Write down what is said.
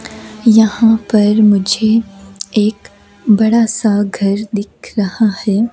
यहां पर मुझे एक बड़ा सा घर दिख रहा है।